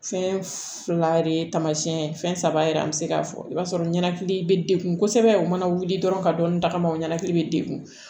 Fɛn fila de ye taamasiyɛn ye fɛn saba yɛrɛ an bɛ se k'a fɔ i b'a sɔrɔ ɲɛnakili bɛ degun kosɛbɛ u mana wuli dɔrɔn ka dɔni tagama o ɲɛnɛkili bɛ degun